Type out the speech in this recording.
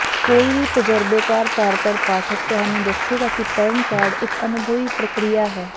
ਕੋਈ ਵੀ ਤਜ਼ਰਬੇਕਾਰ ਤਾਰਟਰ ਪਾਠਕ ਤੁਹਾਨੂੰ ਦੱਸੇਗਾ ਕਿ ਪੜ੍ਹਨ ਕਾਰਡ ਇੱਕ ਅਨੁਭਵੀ ਪ੍ਰਕਿਰਿਆ ਹੈ